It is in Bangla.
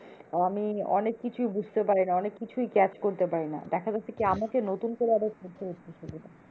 আমি অনেক কিছুই বুঝতে পারিনা অনেক কিছুই catch করতে পারি না। দেখা যাচ্ছে কি আমাকে নতুন করে আবার পড়তে হচ্ছে সেগুলো।